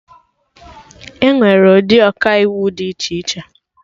Enwere ụdị Ọkaiwu dị iche iche